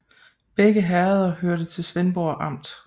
Begge herreder hørte til Svendborg Amt